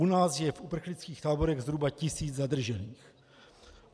U nás je v uprchlických táborech zhruba tisíc zadržených.